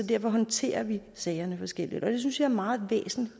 derfor håndterer vi sagerne forskelligt og det synes jeg er meget væsentligt